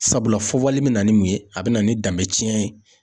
Sabula fɔ vali bɛ na ni mun ye, a bɛ na ni danbe tiɲɛn ye.